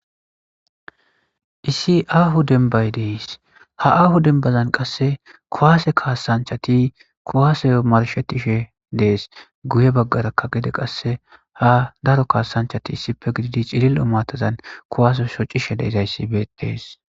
Issi ahoo denibayi de'ees.haa aho denibazanni qase kuwasanichchati kuwasee marishshetishshe de'es.guye bagaraka qase haa daro kasanichchati issippe gididi cilili'o matazanni kuwasee shocishshe dizoyiss betees.